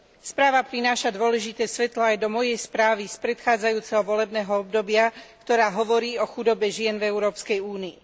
Správa prináša dôležité svetlo aj do mojej správy z predchádzajúceho volebného obdobia, ktorá hovorí o chudobe žien v Európskej únii.